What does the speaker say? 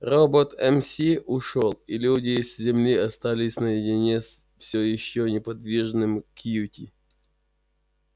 робот мс ушёл и люди с земли остались наедине с всё ещё неподвижным кьюти